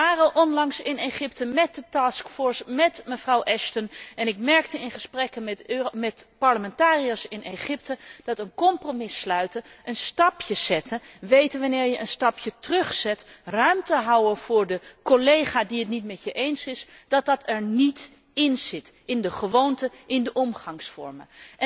Wij waren onlangs in Egypte met de task force met mevrouw Ashton, en ik merkte in gesprekken met parlementariërs in Egypte dat een compromis sluiten, een stapje zetten, weten wanneer je een stapje terugdoet, ruimte houden voor de collega die het niet met je eens is, dat dat er niet inzit, niet in de gewoonten, noch in de omgangsvormen.